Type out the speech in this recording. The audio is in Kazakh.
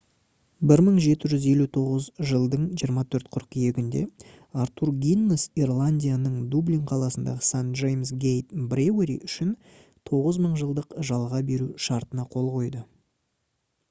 1759 жылдың 24 қыркүйегінде артур гиннес ирландияның дублин қаласындағы st james' gate brewery үшін 9000 жылдық жалға беру шартына қол қойды